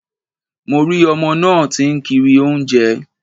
Mo rí ọmọ náà tí ń kiri oúnjẹ